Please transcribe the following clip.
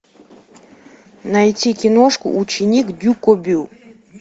найти киношку ученик дюкобю